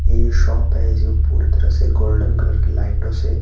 ये जो शॉप है ये पूरी तरह से गोल्डन कलर कीलाइटों से--